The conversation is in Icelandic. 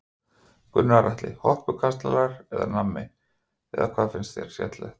Gunnar Atli: Hoppukastalar eða nammi eða hvað finnst þér skemmtilegt?